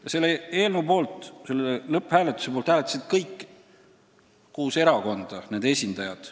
Ja selle eelnõu poolt hääletasid lõpphääletusel kõigi kuue erakonna esindajad.